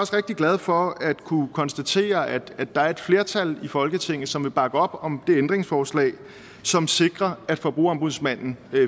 rigtig glad for at kunne konstatere at der er et flertal i folketinget som vil bakke op om det ændringsforslag som sikrer at forbrugerombudsmanden